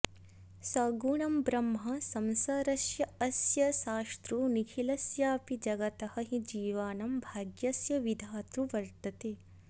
सगुणं ब्रह्म संसारस्यास्य शास्तृ निखिलस्यापि जगतः हि जीवानां भाग्यस्य विधातृ वर्त्तते